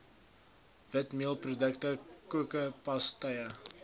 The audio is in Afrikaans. witmeelprodukte koeke pastye